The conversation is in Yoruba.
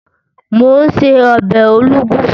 Mò ún ṣe ọbẹ̀ olugbu